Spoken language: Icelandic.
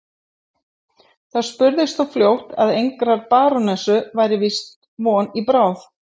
Það spurðist þó fljótt að engrar barónessu væri víst von í bráð.